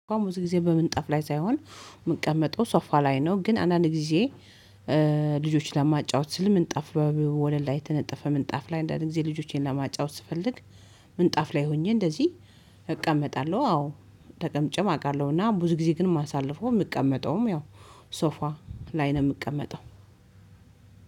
አሁን ብዙ ጊዜ በምንጣፍ ላይ ሳይሆን የምቀመጠው ሶፋ ላይ ነው። ግን አንዳንድ ጊዜ ልጆችን ለማጫወት ስል ምንጣፍ ወለል ላይ የተነጠፈ ምንጣፍ ላይ አንዳንዴ ልጆቼን ለማጫወት ስፈልግ። ምንጣፍ ላይ ሆኜ እንደዚህ እቀመጣለሁ። አዎ ተቀምጬም አውቃለሁና። ብዙ ጊዜ ግን ማሳለፍ ነው የምቀመጠውም ያው ሶፋ ላይ ነው። የምቀመጠው